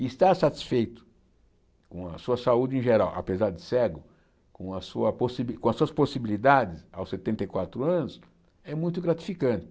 E estar satisfeito com a sua saúde em geral, apesar de cego, com a sua possibi com as suas possibilidades aos setenta e quatro anos, é muito gratificante.